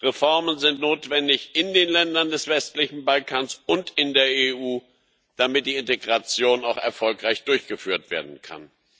Reformen sind notwendig in den Ländern des westlichen Balkans und in der EU damit die Integration auch erfolgreich durchgeführt werden kann.